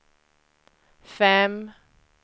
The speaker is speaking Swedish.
fem